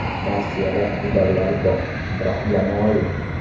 Rossiyada iqtidorlar bor, biroq jamoa yo‘q.